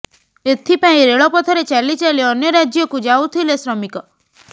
ଏଥିପାଇଁ ରେଳ ପଥରେ ଚାଲି ଚାଲି ଅନ୍ୟ ରାଜ୍ୟକୁ ଯାଉଥିଲେ ଶ୍ରମିକ